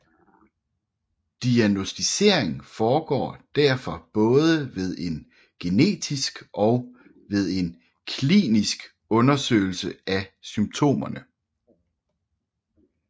Diagnosticering foregår derfor både ved en genetisk og ved en klinisk undersøgelse af symptomerne